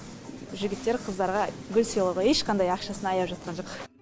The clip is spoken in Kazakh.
жігіттер қыздарға гүл сыйлауға ешқандай ақшасын аяп жатқан жоқ